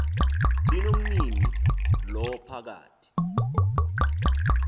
linomnini lo phakathi